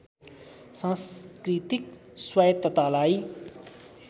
सांस्कृतिक स्वायत्ततालाई